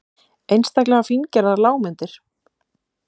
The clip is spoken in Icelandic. Einstaklega fíngerðar lágmyndir.